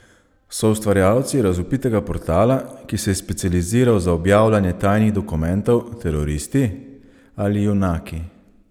So ustvarjalci razvpitega portala, ki se je specializiral za objavljanje tajnih dokumentov, teroristi ali junaki?